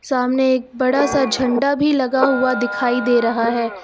सामने एक बड़ा सा झंडा भी लगा हुआ दिखाई दे रहा है।